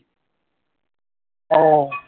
আহ